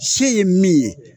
Se ye min ye